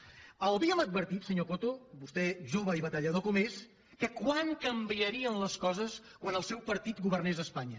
l’havíem advertit senyor coto vostè jove i batallador com és de com canviarien les coses quan el seu partit governés a espanya